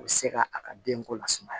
U bɛ se ka a ka denko lasumaya